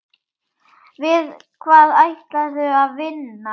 Við hvað ætlarðu að vinna?